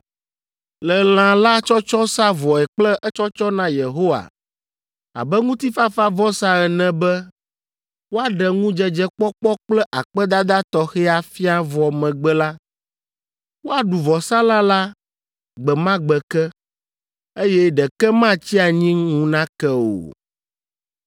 Le lã la tsɔtsɔ sa vɔe kple etsɔtsɔ na Yehowa abe ŋutifafavɔsa ene be woaɖe ŋudzedzekpɔkpɔ kple akpedada tɔxɛ afia vɔ megbe la, woaɖu vɔsalã la gbe ma gbe ke, eye ɖeke matsi anyi ŋu nake o.